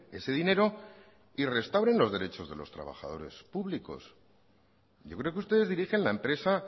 ese dinero y restauren los derechos de los trabajadores públicos yo creo que ustedes dirigen la empresa